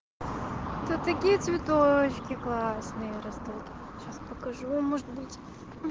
тут такие цветочки классные растут сейчас покажу может быть